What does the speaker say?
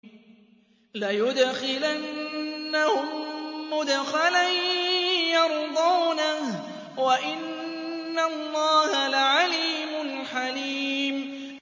لَيُدْخِلَنَّهُم مُّدْخَلًا يَرْضَوْنَهُ ۗ وَإِنَّ اللَّهَ لَعَلِيمٌ حَلِيمٌ